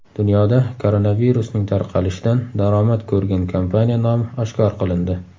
Dunyoda koronavirusning tarqalishidan daromad ko‘rgan kompaniya nomi oshkor qilindi.